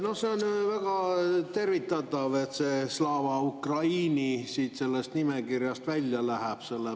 No see on väga tervitatav, et see Slava Ukraini sellest nimekirjast välja läheb.